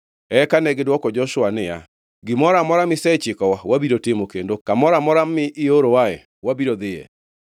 Eka negidwoko Joshua niya, “Gimoro amora misechikowa wabiro timo, kendo kamoro amora mi iorowae wabiro dhiyoe.